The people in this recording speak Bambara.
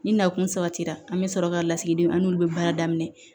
Ni nakun sabatira an bɛ sɔrɔ ka lasigidenw an n'olu bɛ baara daminɛ